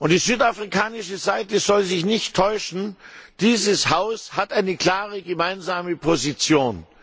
Die südafrikanische Seite soll sich nicht täuschen Dieses Haus hat eine klare gemeinsame Position.